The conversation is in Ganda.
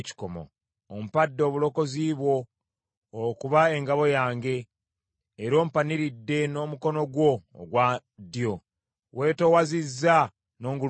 Ompadde obulokozi bwo okuba engabo yange; era ompaniridde n’omukono gwo ogwa ddyo; weetoowazizza n’ongulumiza.